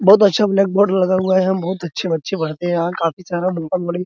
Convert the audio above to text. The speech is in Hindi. बहुत अच्छे ब्लैक बोर्ड लगा हुआ है यहां बहुत अच्छे बच्चे पढ़ते हैं और काफी सारे --